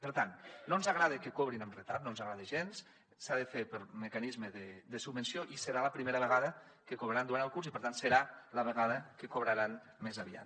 per tant no ens agrada que cobrin amb retard no ens agrada gens s’ha de fer pel mecanisme de subvenció i serà la primera vegada que cobraran durant el curs i per tant serà la vegada que cobraran més aviat